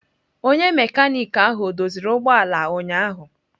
Onye mekaniki ahụ o doziri ụgbọ ala ụnyahụ?